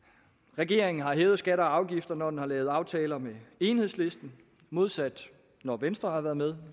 regeringen har hævet skatter og afgifter når den har lavet aftaler med enhedslisten modsat når venstre har været med